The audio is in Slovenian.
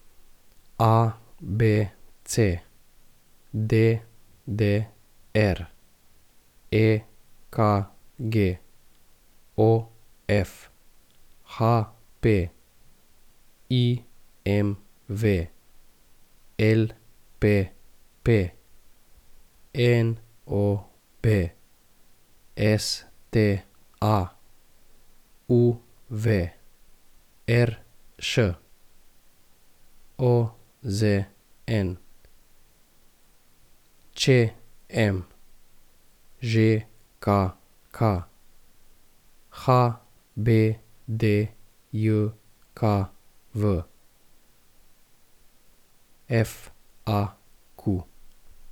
ABC, DDR, EKG, OF, HP, IMV, LPP, NOB, STA, UV, RŠ, OZN, ČM, ŽKK, HBDJKV, FAQ.